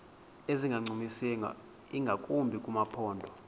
ezingancumisiyo ingakumbi kumaphondo